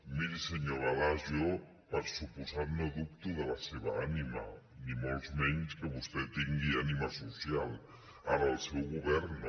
miri senyor balasch jo per des·comptat no dubto de la seva ànima ni molt menys que vostè tingui ànima social ara el seu govern no